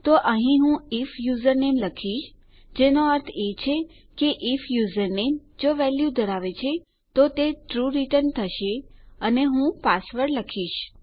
તો અહીં હું આઇએફ યુઝરનેમ લખીશ જેનો અર્થ એ છે કે આઇએફ યુઝરનેમ જો વેલ્યુ ધરાવે છે તો તે ટ્રૂ રીટર્ન થશે અને હું પાસવર્ડ લખીશ